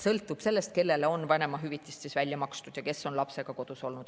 Sõltub sellest, kellele on vanemahüvitis välja makstud ja kes on lapsega kodus olnud.